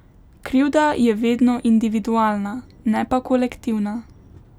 Krivda je vedno individualna, ne pa kolektivna.